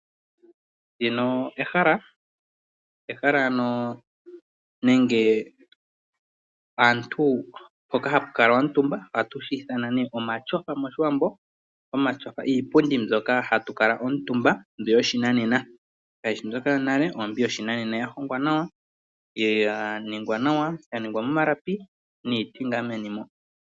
Ndino ehala nenge ehala mpoka hapu kalwa omutumba. Hoka haku kalwa omutumba kaantu nohatu shi ithana omatyofa mOshiwambo. Omatyofa iipundi mbyoka hatu kala omutumba mbi yoshinanena kayi shi mbyoka yonale, ihe oyoshinanena. Oya hongwa nawa ya ningwa nawa, ya ningwa momalapi niiti meni.